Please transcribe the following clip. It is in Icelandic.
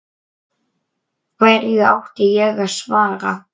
Hverju átti ég að svara?